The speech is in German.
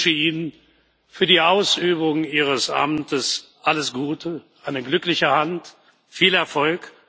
Ich wünsche Ihnen für die Ausübung Ihres Amtes alles Gute, eine glückliche Hand, viel Erfolg.